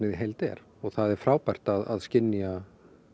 í heild er og það er frábært að skynja